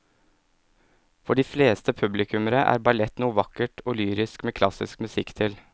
For de fleste publikummere er ballett noe vakkert og lyrisk med klassisk musikk til.